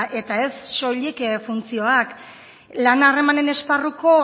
eta ez soilik funtzioak lan harremanen esparruko